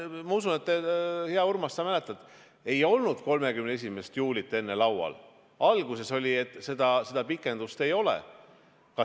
Ma usun, hea Urmas, sa mäletad, et ei olnud 31. juulit enne laual, alguses oli nii, et seda pikendust ei tule.